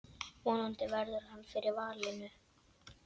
Vonandi verður hann fyrir valinu.